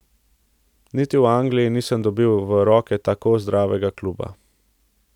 Niti v Angliji nisem dobil v roke tako zdravega kluba.